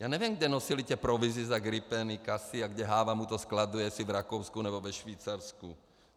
Já nevím, kam nosili ty provize za gripeny, casy a kde Háva mu to skladuje, jestli v Rakousku nebo ve Švýcarsku.